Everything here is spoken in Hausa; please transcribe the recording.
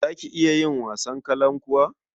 Za ki iya yin wasan kalankuwa?